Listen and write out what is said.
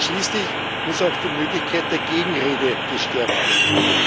Und schließlich muss auch die Möglichkeit der Gegenrede gestärkt werden.